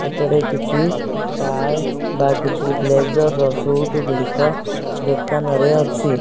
ଏଠାରେ କିଛି ଟାଏ ବା କିଛି ବ୍ଲେଜର ର ସୁଟ ଗୁଡିକ ଦୋକାନରେ ଅଛି।